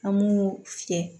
An b'u fiyɛ